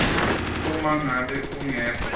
uma ngabe kungekho